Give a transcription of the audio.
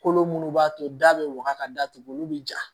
Kolo minnu b'a to da bɛ waga ka datugu olu bɛ ja